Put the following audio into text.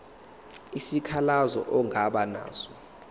isikhalazo ongaba naso